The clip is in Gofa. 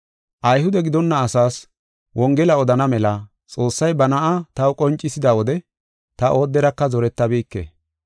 Ayhude gidonna asaas Wongela odana mela Xoossay ba Na7aa taw qoncisida wode ta ooderaka zorettabike.